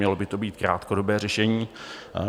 Mělo by to být krátkodobé řešení.